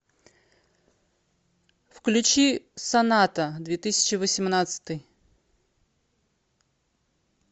включи соната две тысячи восемнадцатый